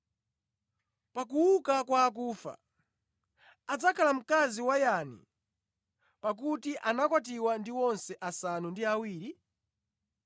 Pa kuuka kwa akufa, adzakhala mkazi wa yani pakuti anakwatiwa ndi onse asanu ndi awiri?”